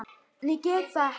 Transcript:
En ég gat það ekki.